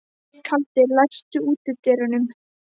Kaldi, læstu útidyrunum.